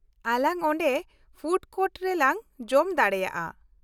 -ᱟᱞᱟᱝ ᱚᱸᱰᱮ food court ᱨᱮᱞᱟᱝ ᱡᱚᱢ ᱫᱟᱲᱮᱭᱟᱜᱼᱟ ᱾